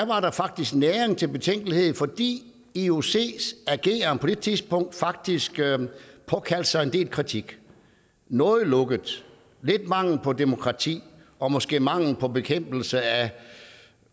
var der faktisk næring til betænkelighed fordi iocs ageren på det tidspunkt faktisk påkaldte sig en del kritik noget lukket lidt mangel på demokrati og måske mangel på bekæmpelse af